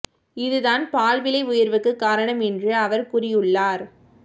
இதுதான் பால் விலை உயர்வுக்கு காரணம் என்று அவர் கூறியுள்ளார்